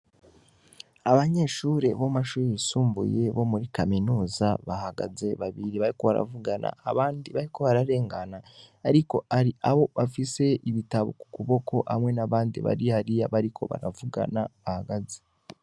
Abanyeshure bo mu mashure yisumbuye bo muri kaminuza bahagaze babiri bariko baravugana abandi bariko bararengana ariko haro abo bafise ibitabo ku kuboko hamwe n'abandi bari hariya bariko baravugana bahagaze.